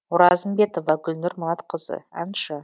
оразымбетова гүлнұр манатқызы әнші